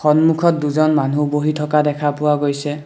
সন্মুখত দুজন মানুহ বহি থকা দেখা পোৱা গৈছে।